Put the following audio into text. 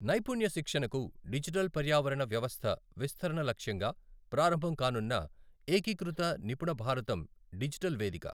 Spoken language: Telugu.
నైపుణ్య శిక్షణకు డిజిటల్ పర్యావరణ వ్యవస్థ విస్తరణ లక్ష్యంగా ప్రారంభం కానున్నఏకీకృత నిపుణ భారతం డిజిటల్ వేదిక